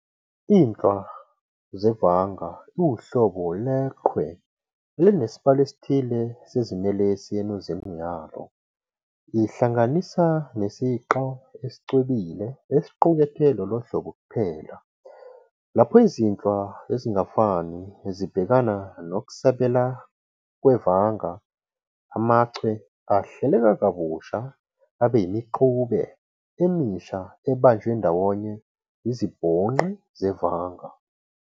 INhlwa zevanga iwuhlobo lwechwe elinesibalo esithile seziNelesi enuzini yalo, ihlanganisa nesiqa esicwebile esiqukethe lolohlobo kuphela. Lapho izinhlwa ezingafani zibhekana nokusabela kwevanga, amachwe ahleleka kabusha abe yimixube emisha ebanjwe ndawonye izibhonqi zevanga.